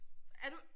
Er du?